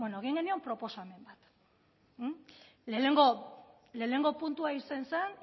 beno egin genion proposamen bat lehenengo puntua izan zen